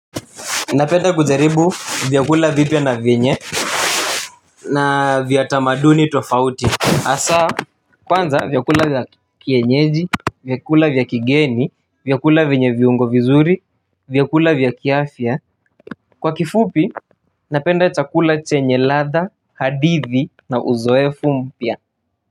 Napenda kujaribu vyakula vipia na venye na vyatamaduni tofauti. Asa kwanza vyakula vya kienyeji, vyakula vyakigeni, vyakula venye viungo vizuri, vyakula vyakiafia. Kwa kifupi napenda chakula chenye latha, hadithi na uzoefu mpia.